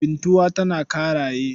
Bintuwa tana Ƙaraye.